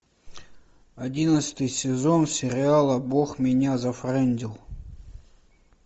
одиннадцатый сезон сериала бог меня зафрендил